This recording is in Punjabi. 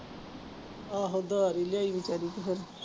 ਆਹੋ ਉਧਾਰ ਹੀ ਲਿਆ ਬੇਚਾਰੀ ਤੇ ਫਿਰ।